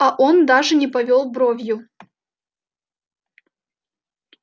а он даже не повёл бровью